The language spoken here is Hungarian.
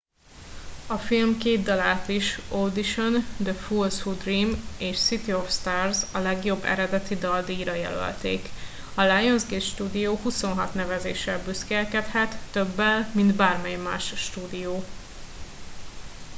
a film két dalát is - audition the fools who dream és city of stars - a legjobb eredeti dal díjra jelölték. a lionsgate stúdió 26 nevezéssel büszkélkedhet - többel mint bármely más stúdió